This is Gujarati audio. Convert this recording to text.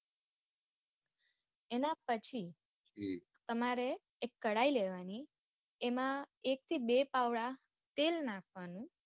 એના પછી તમારે એક કડાય લય લેવાની એમાં એક થી બે પાવડા તેલ નાખવા નું